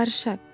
Barışaq.